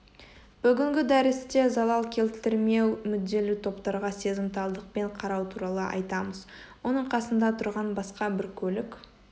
бүгінгі дәрісте залал келтірмеу мүдделі топтарға сезімталдықпен қарау туралы айтамыз оның қасында тұрған басқа бір көлік